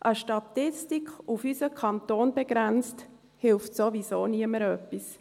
Eine Statistik, auf unseren Kanton begrenzt, hilft sowieso niemandem etwas.